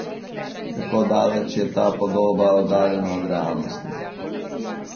Kako daleč je ta podoba oddaljena od realnosti?